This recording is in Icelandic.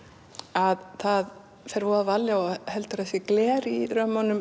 að það fer voða varlega og heldur að það sé gler í römmunum